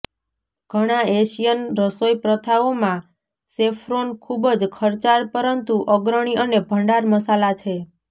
ઘણા એશિયન રસોઈપ્રથાઓમાં સેફ્રોન ખૂબ જ ખર્ચાળ પરંતુ અગ્રણી અને ભંડાર મસાલા છે